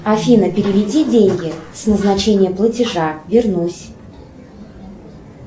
афина переведи деньги с назначением платежа вернусь